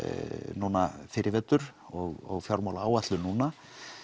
núna fyrr í vetur og fjármálaáætlun núna